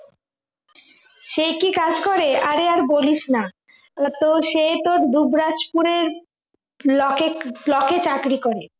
সে কি কাজ করে আরে আর বলিস না ওতো সেই তোর দুবরাজপুরের block এর block এ চাকরি করে